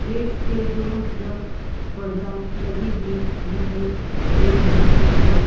Gate पे दोनों तरफ पर्दा लगी हुई दिखाई दे रही है।